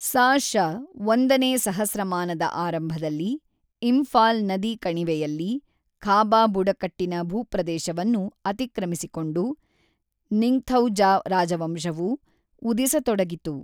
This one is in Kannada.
ಸಾ.ಶ. ಒಂದನೇ ಸಹಸ್ರಮಾನದ ಆರಂಭದಲ್ಲಿ, ಇಂಫಾಲ್ ನದಿ ಕಣಿವೆಯಲ್ಲಿ ಖಾಬಾ ಬುಡಕಟ್ಟಿನ ಭೂಪ್ರದೇಶವನ್ನು ಅತಿಕ್ರಮಿಸಿಕೊಂಡು ನಿಂಗ್ಥೌಜಾ ರಾಜವಂಶವು ಉದಿಸತೊಡಗಿತು.